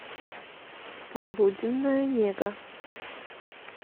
полуденная нега